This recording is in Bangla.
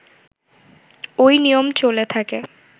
ঐ নিয়ম চলে থাকে